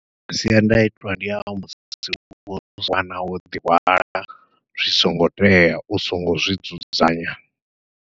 Masiandaitwa ndi a musi u tshi wana wo ḓi hwala zwi songo tea u songo zwi dzudzanya.